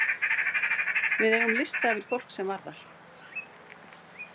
Við eigum lista yfir fólk sem var þar.